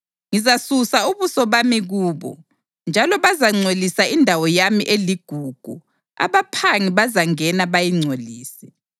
Ngizasusa ubuso bami kubo, njalo bazangcolisa indawo yami eligugu; abaphangi bazangena, bayingcolise.